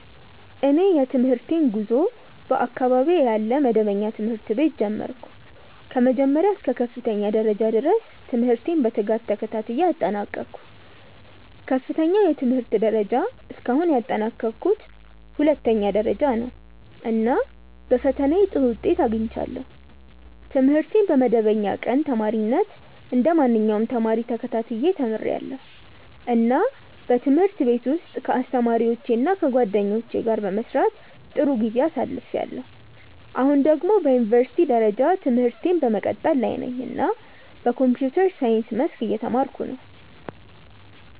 እኔ የትምህርቴን ጉዞ በአካባቢዬ ያለ መደበኛ ትምህርት ቤት ጀመርሁ። ከመጀመሪያ እስከ ከፍተኛ ደረጃ ድረስ ትምህርቴን በትጋት ተከታትዬ አጠናቀቅሁ። ከፍተኛው የትምህርት ደረጃ እስካሁን ያጠናቀቅሁት ሁለተኛ ደረጃ ነው፣ እና በፈተናዬ ጥሩ ውጤት አግኝቻለሁ። ትምህርቴን በመደበኛ ቀን ተማሪነት እንደ ማንኛውም ተማሪ ተከታትዬ ተምርያለሁ፣ እና በትምህርት ቤት ውስጥ ከአስተማሪዎቼ እና ከጓደኞቼ ጋር በመስራት ጥሩ ጊዜ አሳልፍያለሁ። አሁን ደግሞ በዩኒቨርሲቲ ደረጃ ትምህርቴን በመቀጠል ላይ ነኝ እና በኮምፒውተር ሳይንስ መስክ እየተማርኩ ነው።